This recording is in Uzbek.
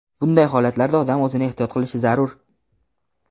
Bunday holatlarda odam o‘zini ehtiyot qilishi zarur.